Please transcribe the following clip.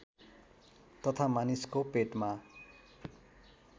तथा मानिसको पेटमा